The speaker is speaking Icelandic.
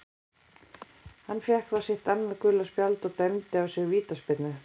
Hann fékk þá sitt annað gula spjald og dæmda á sig vítaspyrnu.